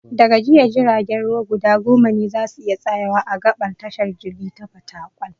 Da ga jiya, jiragen ruwa guda goma ne za su iya tsayawa a gaɓar tashar jirgi ta Fatakwal.